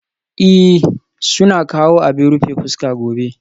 Ee, suna kawo abin rufe fuska gobe